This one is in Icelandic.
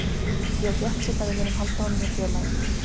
Ég er bjartsýnn að við munum halda honum hjá félaginu.